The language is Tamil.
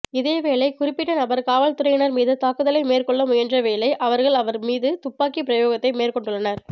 இதேவேளை குறிப்பிட்ட நபர் காவல்துறையினர் மீது தாக்குதலை மேற்கொள்ளமுயன்றவேளை அவர்கள் அவர் மீது துப்பாக்கி பிரயோகத்தை மேற்கொண்டுள்ளனர்